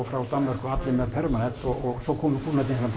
frá Danmörku og allir með permanent og svo komu kúnnarnir hérna